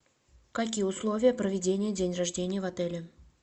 какие условия проведения день рождения в отеле